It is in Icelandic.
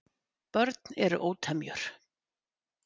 Börn eru ótemjur.